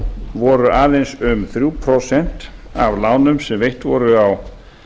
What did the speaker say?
voru aðeins um þrjú prósent af lánum sem veitt voru á